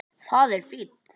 Þetta er fínt.